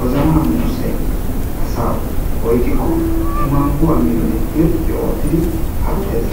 wozanany muussay oyqqikko irxxi oottidi paattees.